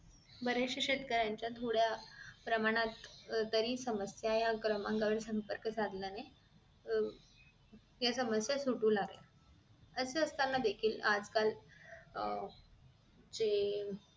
बरेचशे शेतकऱ्यांच्या थोड्या प्रमाणात तरी समस्या या क्रमांकावर संपर्क साधल्याने अह त्या समस्या सुटू लागल्या असे असताना देखील आजकाल अह जे